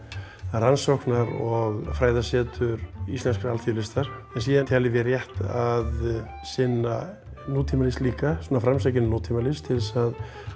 er rannsóknar og fræðasetur íslenskrar alþýðulistar en síðan teljum við rétt að sinna nútímalist líka framsækinni nútímalist til þess að